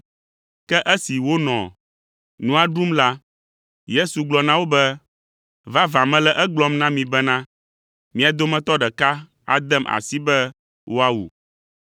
Ke esi wonɔ nua ɖum la, Yesu gblɔ na wo be, “Vavã, mele egblɔm na mi bena, mia dometɔ ɖeka adem asi be woawu.”